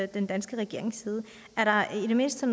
den danske regerings side er der i det mindste